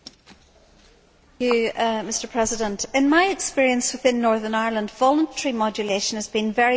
Mr President, in my experience within Northern Ireland, voluntary modulation has been very divisive for farmers.